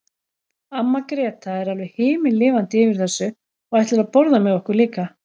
Amma Gréta er alveg himinlifandi yfir þessu og ætlar að borða með okkur líka.